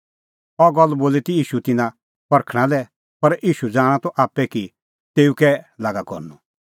अह गल्ल बोली ती ईशू तिन्नां परखणां लै पर ईशू ज़ाणा त आप्पै कि तेऊ कै लागा करनअ